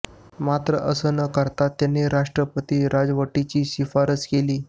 मात्र असे न करता त्यांनी राष्ट्रपती राजवटीची शिफारस केली